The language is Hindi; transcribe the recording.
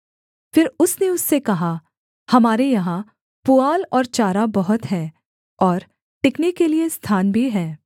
फिर उसने उससे कहा हमारे यहाँ पुआल और चारा बहुत है और टिकने के लिये स्थान भी है